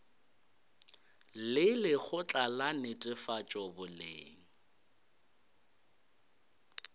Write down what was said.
le lekgotla la netefatšo boleng